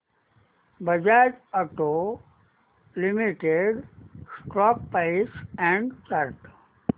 Bajaj auto limited stock price and chart